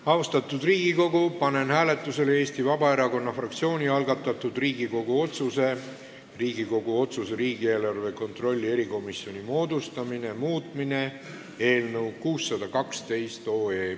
Austatud Riigikogu, panen hääletusele Eesti Vabaerakonna fraktsiooni algatatud Riigikogu otsuse "Riigikogu otsuse "Riigieelarve kontrolli erikomisjoni moodustamine" muutmine" eelnõu 612.